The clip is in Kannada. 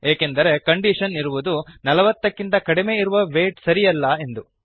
ಏಕೆಂದರೆ ಕಂಡೀಷನ್ ಇರುವುದು ೪೦ ನಲವತ್ತಕ್ಕಿಂತ ಕಡಿಮೆ ಇರುವ ವೈಟ್ ಸರಿಯಲ್ಲ ಎಂದು